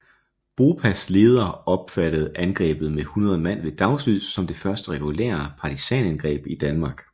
BOPAs leder opfattede angrebet med 100 mand ved dagslys som det første regulære partisanangreb i Danmark